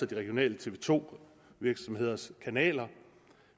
de regionale tv to virksomheders kanaler